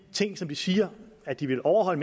siger at de vil overholde